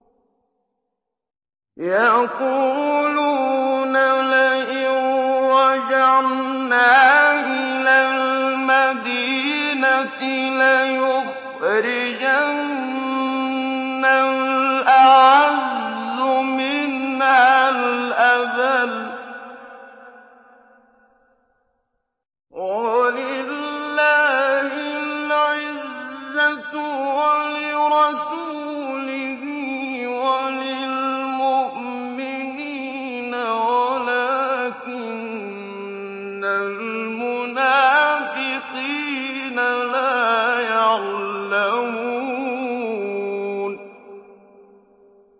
يَقُولُونَ لَئِن رَّجَعْنَا إِلَى الْمَدِينَةِ لَيُخْرِجَنَّ الْأَعَزُّ مِنْهَا الْأَذَلَّ ۚ وَلِلَّهِ الْعِزَّةُ وَلِرَسُولِهِ وَلِلْمُؤْمِنِينَ وَلَٰكِنَّ الْمُنَافِقِينَ لَا يَعْلَمُونَ